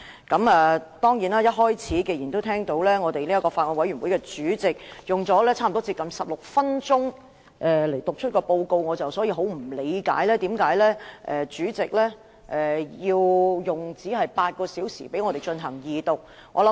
既然法案委員會主席一開始用了近16分鐘就法案委員會報告發言，我很不理解為何主席只容許我們用8小時進行二讀辯論。